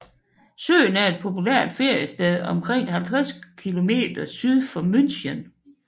Søen er et populært feriested omkring 50 km syd for München